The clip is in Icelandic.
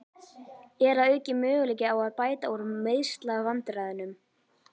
Er að auki möguleiki á að bæta úr meiðslavandræðunum?